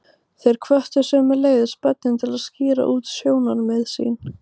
Þeir hvöttu sömuleiðis börnin til að skýra út sjónarmið sín.